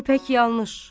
Bu pək yanlış.